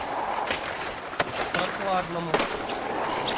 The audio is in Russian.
прохладному